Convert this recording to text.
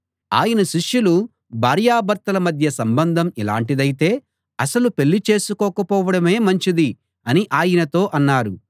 ఆయన శిష్యులు భార్యాభర్తల మధ్య సంబంధం ఇలాటిదైతే అసలు పెళ్ళి చేసుకోక పోవడమే మంచిది అని ఆయనతో అన్నారు